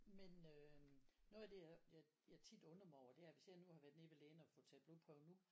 men øhm noget af det jeg jeg jeg tit undrer mig over er hvis jeg nu har været nede til lægen og få taget blodprøve nu